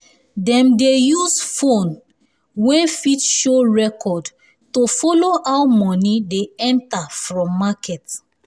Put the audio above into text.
dem dey use phone wey fit show record to follow how money dey enter from market